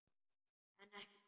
En ekki hver?